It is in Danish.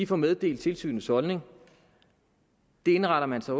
får meddelt tilsynets holdning det indretter man sig